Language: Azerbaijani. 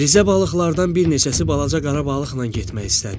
Rizə balıqlardan bir neçəsi balaca qara balıqla getmək istədi.